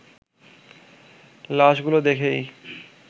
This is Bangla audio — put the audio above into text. লাশগুলো দেখেই